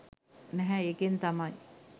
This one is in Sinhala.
නැහැ ඒකෙන් තමයි